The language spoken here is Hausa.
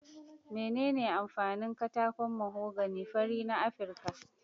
Menene amfanin katakon mahogany fari na Afirka?